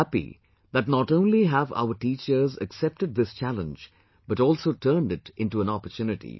I am happy that not only have our teachers accepted this challenge but also turned it into an opportunity